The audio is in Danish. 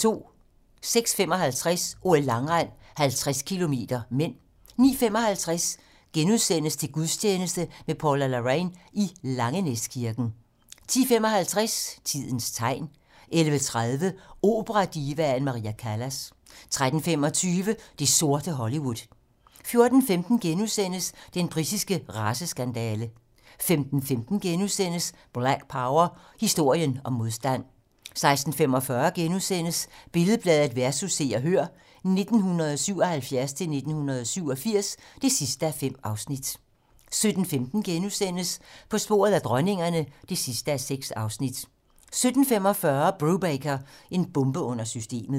06:55: OL: Langrend - 50 km (m) 09:55: Til gudstjeneste med Paula Larrain i Langenæskirken * 10:55: Tidens tegn 11:30: Operadivaen Maria Callas 13:25: Det sorte Hollywood 14:15: Den britiske raceskandale * 15:15: Black Power: Historien om modstand * 16:45: Billed-Bladet vs. Se og Hør (1977-1987) (5:5)* 17:15: På sporet af dronningerne (6:6)* 17:45: Brubaker - en bombe under systemet